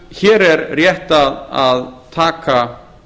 hér er rétt að taka